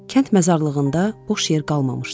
Kənd məzarlığında boş yer qalmamışdı.